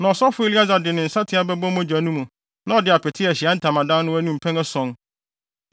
Na ɔsɔfo Eleasar de ne nsateaa bɛbɔ mogya no mu na ɔde apete Ahyiae Ntamadan no anim mpɛn ason.